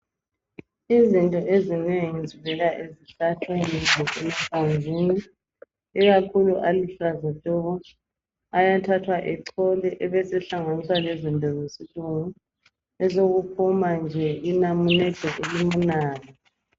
Izinto ezinengi zivela esihlahleni lasemahlamvini ikakhulu aluhlaza tshoko ayathathwa echolwe abese hlanganiswa lezinto zesilungu besekuphuma nje inamunede elimunandi